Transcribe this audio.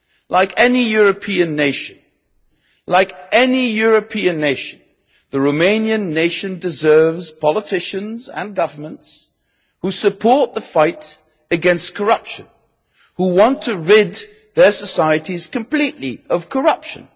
Like any European nation, the Romanian nation deserves politicians and governments who support the fight against corruption, who want to rid their societies completely of corruption.